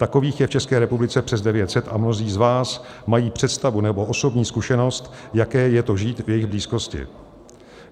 Takových je v České republice přes 900 a mnozí z vás mají představu nebo osobní zkušenost, jaké je to žít v jejich blízkosti.